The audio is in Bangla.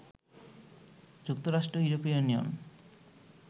যুক্তরাষ্ট্র, ইউরোপীয় ইউনিয়ন